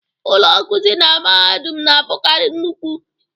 Ụlọ nkuzi na mahadum na-abụkarị nnukwu.